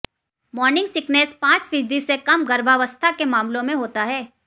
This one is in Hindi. मॉर्निंग सिकनेस पांच फीसदी से कम गर्भावस्था के मामलों में होता है